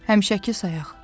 Həmişəki sayaq.